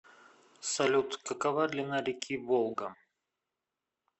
салют какова длина реки волга